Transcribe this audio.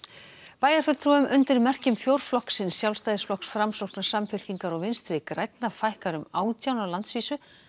bæjarfulltrúum undir merkjum fjórflokksins Sjálfstæðisflokks Framsóknar Samfylkingar og Vinstri grænna fækkar um átján á landsvísu